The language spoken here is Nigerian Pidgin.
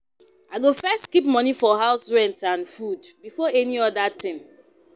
I go first keep money for house rent and food before any other thing.